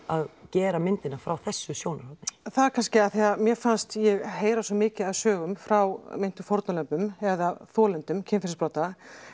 að gera myndina frá þessu sjónarhorni það er kannski af því að mér fannst ég heyra svo mikið af sögum frá meintum fórnarlömbum eða þolendum kynferðisbrota